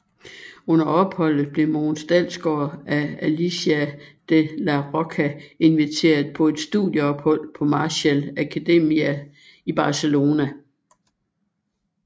Under opholdet blev Mogens Dalsgaard af Alicia de Larrocha inviteret på et studieophold på Marshall Akademia i Barcelona